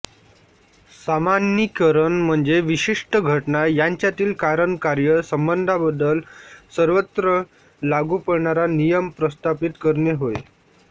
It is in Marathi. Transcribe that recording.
सामान्यीकरण म्हणजे विषिष्ट घटना यांच्यातील कारण कार्य संबंधाबद्दल सर्वत्र लागू पडणारा नियम प्रस्थापित करणे होय